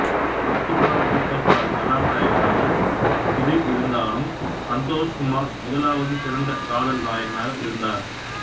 பாக்கிஸ்தானின் super star கதாநாயகனாக சுதிர் இருந்தாலும் சந்தோஷ் குமார் முதலாவது சிறந்த காதல் நாயகனாக இருந்ததார்